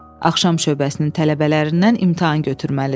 Axşam şöbəsinin tələbələrindən imtahan götürməlidir.